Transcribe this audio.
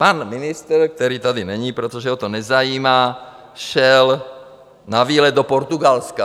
Pan ministr, který tady není, protože ho to nezajímá, šel na výlet do Portugalska.